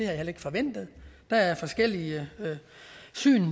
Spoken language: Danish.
heller ikke forventet der er forskellige syn